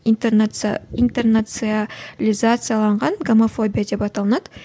интернациялизацияланған гомофобия деп аталынады